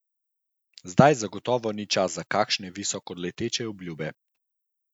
Zdaj zagotovo ni čas za kakšne visokoleteče obljube.